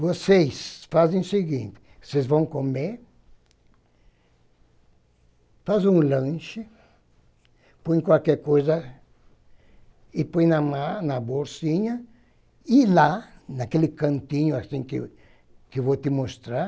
Vocês fazem o seguinte, vocês vão comer, fazem um lanche, põem qualquer coisa e põem na ma na bolsinha, e lá, naquele cantinho que eu vou te mostrar,